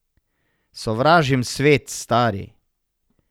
Sovražim svet, stari.